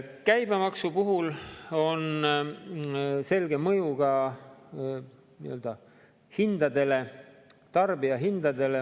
Käibemaksu puhul on selge mõju ka hindadele, tarbijahindadele.